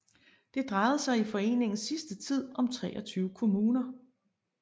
Det drejede sig i foreningens sidste tid om 23 kommuner